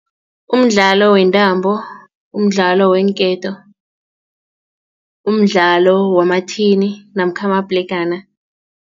Umdlalo wentambo, umdlalo weenketo, umdlalo wamathini namkha amabhlegana.